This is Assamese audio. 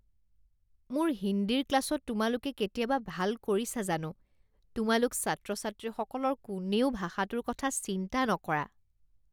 মোৰ হিন্দীৰ ক্লাছত তোমালোকে কেতিয়াবা ভাল কৰিছা জানো? তোমালোক ছাত্ৰ ছাত্ৰীসকলৰ কোনেও ভাষাটোৰ কথা চিন্তা নকৰা।